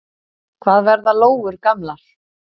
Hvað verða lóur gamlar?